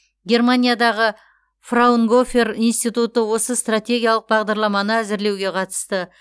германиядағы фраунгофер институты осы стратегиялық бағдарламаны әзірлеуге қатысты